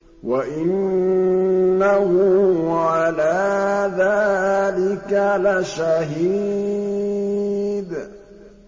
وَإِنَّهُ عَلَىٰ ذَٰلِكَ لَشَهِيدٌ